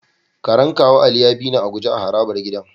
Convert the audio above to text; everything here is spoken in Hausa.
Karen kawu Ali ya bini a guje a harabar gidan.